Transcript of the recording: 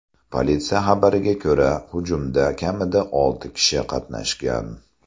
Politsiya xabariga ko‘ra, hujumda kamida olti kishi qatnashgan.